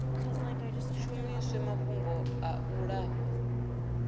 shumiswe mafhungo a u lafha